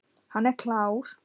Hann er klár.